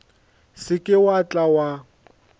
se ke wa tla wa